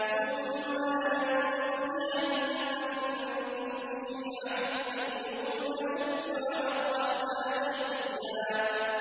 ثُمَّ لَنَنزِعَنَّ مِن كُلِّ شِيعَةٍ أَيُّهُمْ أَشَدُّ عَلَى الرَّحْمَٰنِ عِتِيًّا